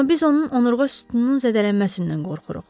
Amma biz onun onurğa sütununun zədələnməsindən qorxuruq.